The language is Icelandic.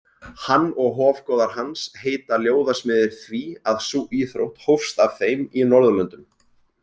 Hann og hofgoðar hans heita ljóðasmiðir því að sú íþrótt hófst af þeim í Norðurlöndum.